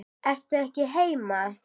Ertu ekki heima?